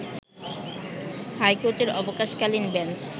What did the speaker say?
হাইকোর্টের অবকাশ-কালীন বেঞ্চ